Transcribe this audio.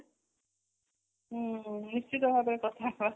ହୁଁ ନିଶ୍ଚିତ ଭାବରେ କଥା ହେବା